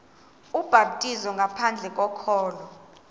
ubhaptizo ngaphandle kokholo